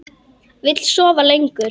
Vill sofa lengur.